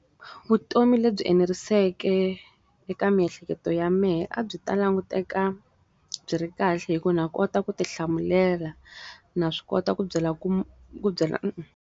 Vutomi lebyi eneriseke eka miehleketo ya mehe a byi ta languteka, byi ri kahle hikuva na kota ku ti hlamulela na swi kota ku byela ku ku byela .